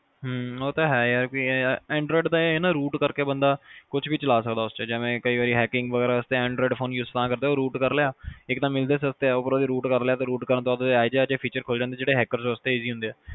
ਹਮ ਉਹ ਤਾ ਹੈ ਯਾਰ anroid ਦਾ ਇਹ ਆ ਨਾ ਕੇ root ਕਰ ਕੇ ਬੰਦਾ ਕੁਛ ਵੀ ਚਲਾ ਸਕਦਾ ਉਸ ਚ ਜਿਵੇ ਕਈ ਵਾਰ hacking ਵਗੈਰਾ ਵਾਸਤੇ anroid phone use ਤਾਂ ਕਰਦੇ root ਕਰਲਿਆ ਇਕ ਤਾਂ ਮਿਲਦੇ ਸਸਤਾ ਉੱਪਰੋਂ ਦੀ root ਕਰਲਿਆ root ਕਰਨ ਤੋਂ ਬਾਅਦ ਇਹੋ ਜਿਹੇ ਇਹੋ ਜਿਹੇ features ਖੁਲਜਾਂਦੇ ਜਿਹੜੇ hackers ਵਾਸਤੇ easy ਹੁੰਦੇ